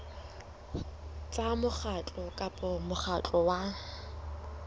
tsa mokgatlo kapa mokgatlo wa